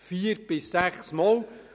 Vier bis sechs Mal!